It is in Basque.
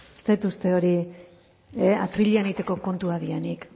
ez dut uste hori atrilean egiteko kontuak direnik